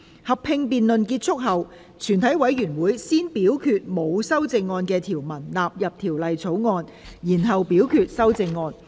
合併辯論結束後，全體委員會會先表決沒有修正案的條文納入《條例草案》，然後表決修正案。